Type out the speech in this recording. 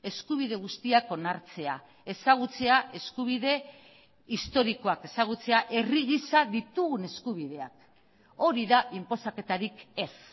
eskubide guztiak onartzea ezagutzea eskubide historikoak ezagutzea herri gisa ditugun eskubideak hori da inposaketarik ez